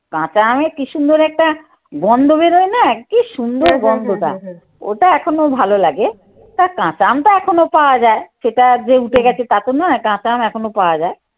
কাঁচা আমে কি সুন্দর একটা গন্ধ বেরোয় না কি সুন্দর গন্ধটা ওটা এখন ওর ভালো লাগে। তা কাঁচা আমটা এখনো পাওয়া যায় সেটা যে উঠে গেছে তা তো নয় কাঁচা আম এখনো পাওয়া যায়।